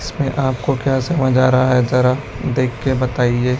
इसमें आपको क्या समझ आ रहा है जरा देख के बताइए।